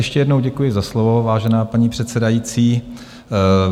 Ještě jednou děkuji za slovo, vážená paní předsedající.